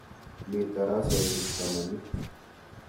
Mi tarasosyek tamanu.